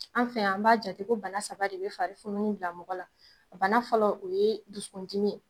An fɛ yan an b'a jate ko bana saba de bɛ fari fununi bila mɔgɔ la. A bana fɔlɔ o ye dusukun dimi ye.